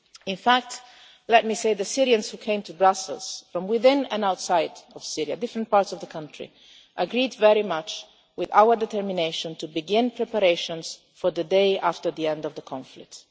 In fact, let me say the Syrians who came to Brussels from within and outside of Syria, different parts of the country, agreed very much with our determination to begin preparations for the day after the end of the conflict.